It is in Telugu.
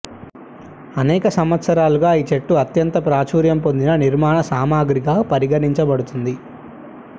అనేక సంవత్సరాలుగా ఈ చెట్టు అత్యంత ప్రాచుర్యం పొందిన నిర్మాణ సామాగ్రిగా పరిగణించబడుతుంది